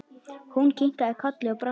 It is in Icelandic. Hún kinkaði kolli og brosti.